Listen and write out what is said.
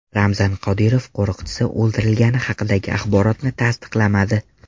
Ramzan Qodirov qo‘riqchisi o‘ldirilgani haqidagi axborotni tasdiqlamadi.